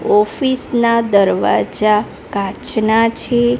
Office ના દરવાજા કાચના છે.